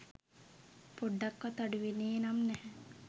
පොඩ්ඩක්වත් අඩු වෙන්නේ නම් නැහැ.